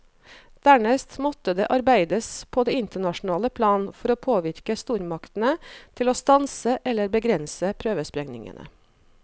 Dernest måtte det arbeides på det internasjonale plan for å påvirke stormaktene til å stanse eller begrense prøvesprengningene.